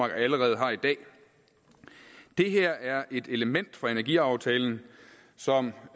allerede har i dag det her er et element fra energiaftalen som